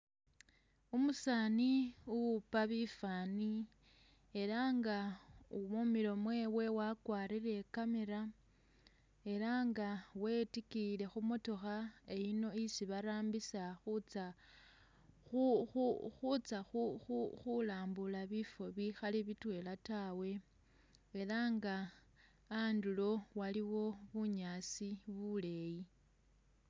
Umusani uwupa bifani elah nga mumilo mwewe wakwarile I'camera elah nga wetikiyile khumotokha eyino isi barambisa khu khu khutsa khu khu khulambula bifo bikhali bitwela taawe elah nga andulo waliwo bunyaasi buleyi